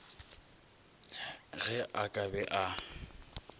ge a ka be a